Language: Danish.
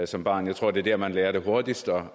som barn jeg tror det er der man lærer det hurtigst